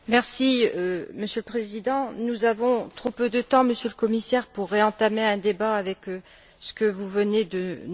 Monsieur le Président, nous avons trop peu de temps, Monsieur le Commissaire, pour réentamer un débat avec ce que vous venez de nous répondre.